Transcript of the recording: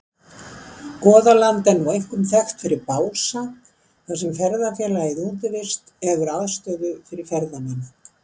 Goðaland er nú einkum þekkt fyrir Bása þar sem ferðafélagið Útivist hefur aðstöðu fyrir ferðamenn.